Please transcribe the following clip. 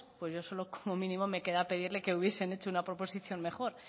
pues yo solo como mínimo me queda pedirle que hubiesen hecho una proposición mejor